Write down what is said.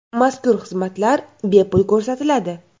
Mazkur xizmatlar bepul ko‘rsatiladi.